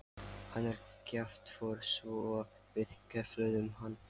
Hann er kjaftfor svo við kefluðum hann.